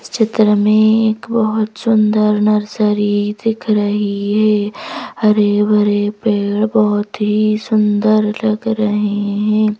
इस चित्र में एक बहुत सुंदर नर्सरी दिख रही है हरे भरे पेड़ बहुत ही सुंदर लग रहे हैं।